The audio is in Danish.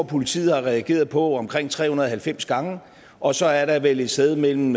politiet har regeret på omkring tre hundrede og halvfems gange og så er der vel et sted mellem